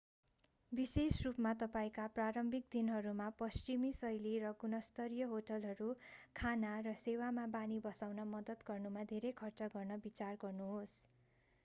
विशेष रूपमा तपाईंका प्रारम्भिक दिनहरूमा पश्चिमी-शैली र गुणस्तरीय होटलहरू खाना र सेवामा बानी बसाउन मद्दत गर्नुमा धेरै खर्च गर्न विचार गर्नुहोस्